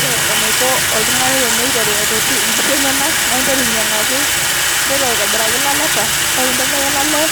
ore enaiko oltungani teneitoti inkishu enyenak ,naa ing'as aikaraki ilaleta, ore pee intobiraki olale,